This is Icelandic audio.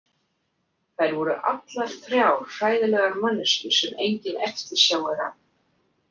Þær voru allar þrjár hræðilegar manneskjur sem engin eftirsjá er að.